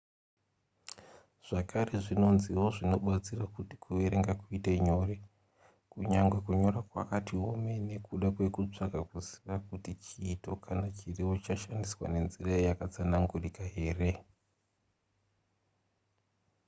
zvakare zvinonziwo zvinobatsira kuti kuverenga kuite nyore kunyangwe kunyora kwakati omei nekuda kwekutsvaga kuziva kuti chiito kana chirevo chashandiswa nenzira yakatsanangurika here